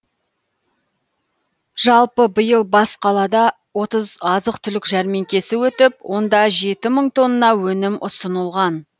жалпы биыл бас қалада отыз азық түлік жәрмеңкесі өтіп онда жеті мың тонна өнім ұсынылған